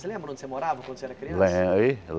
Você lembra onde você morava quando você era criança? Lembre